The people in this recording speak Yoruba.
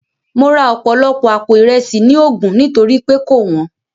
Mo ra ọ̀pọ̀lọpọ̀ àpò Ìresì ní Ogun nítorí pé kò wọ́n